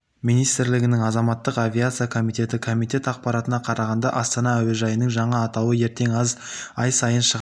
министрлігінің азаматтық авиация комитеті комитет ақпаратына қарағанда астана әуежайының жаңа атауы ертең ай сайын шығатын